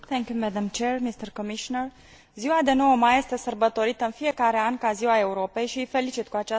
Ziua de 9 mai este sărbătorită în fiecare an ca Ziua Europei și îi felicit cu această ocazie pe toți cetățenii europeni.